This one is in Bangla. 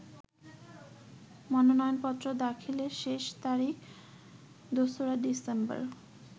মনোনয়নপত্র দাখিলের শেষ তারিখ ২রা ডিসেম্বর।